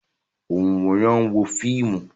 Ònwòran wo fíìmù